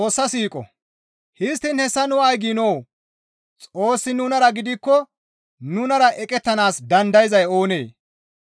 Histtiin hessa nu ay giinoo? Xoossi nunara gidikko nunara eqettanaas dandayzay oonee?